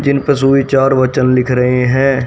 जिन पर सुविचार वचन लिख रहे हैं।